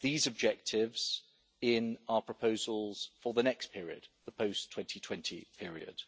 these objectives in our proposals for the next period the post 2020 period.